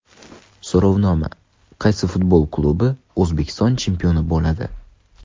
So‘rovnoma: Qaysi futbol klubi O‘zbekiston chempioni bo‘ladi?.